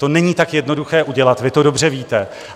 To není tak jednoduché udělat, vy to dobře víte.